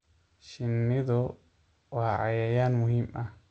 Shinnidu waa cayayaan muhiim ah.